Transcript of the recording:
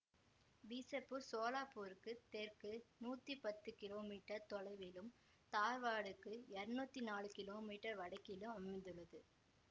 பீசப்பூர் சோலாப்பூருக்குத் தெற்கே நூத்தி பத்து கிலோமீட்டர் தொலைவிலும் தார்வாடுக்கு இருநூத்தி நாலு கிலோமீட்டர் வடக்கிலும் அமைந்துள்ளது